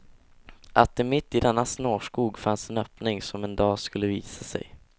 Att det mitt i denna snårskog fanns en öppning som en dag skulle visa sig.